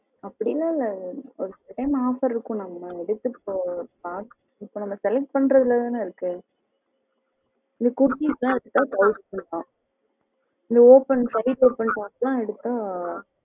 அப்படிஎல்லாம் இல்ல ஒரு சில time offer இருக்கும் நம்ம select பண்றதுல தான இருக்கு kurtis எல்லாம் thousand தான் open பண்ணி பாத்து எடுத்தா